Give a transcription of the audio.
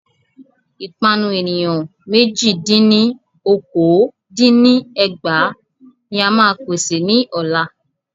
Ìpanu ènìyàn mẹ́jì dín ní okòó dín ní ẹgbàá ní máa pèsè ní ọ̀la.